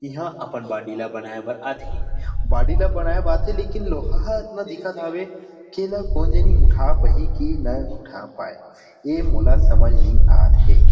यहाँ अपन बॉडी ला बनाये बर आथे बॉडी लेकिन लोहा ह अतना दिखत हावे की एला कोन झनि उठा पहि की नई उठा पाए ए मोला समझ मे नई आ थे।